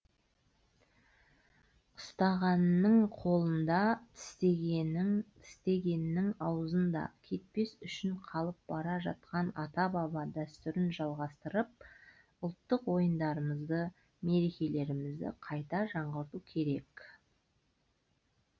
ұстағанның қолында тістегеннің аузында кетпес үшін қалып бара жатқан ата баба дәстүрін жалғастырып ұлттық ойындарымызды мерекелерімізді қайта жаңғырту керек